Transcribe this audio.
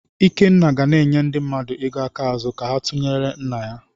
Ikenna ga na-enye ndị mmadụ ego aka ázú ka ha tụnyelụ nna ya.